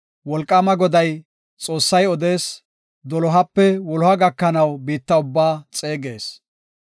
Wolqaama Goday, Xoossay odees; dolohape wuloha gakanaw biitta ubbaa xeegees.